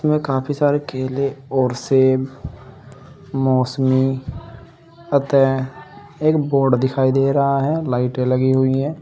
काफी सारे केले और सेब मौसमी अतः एक बोर्ड दिखाई दे रहा है लाइटें लगी हुई हैं।